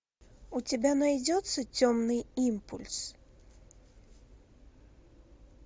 у тебя найдется темный импульс